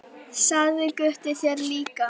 Sagði Gutti þér það líka?